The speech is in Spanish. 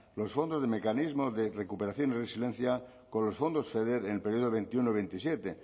los fondos del mecanismo de recuperación y resiliencia con los fondos feder en el periodo veintiuno veintisiete